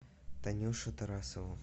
танюшу тарасову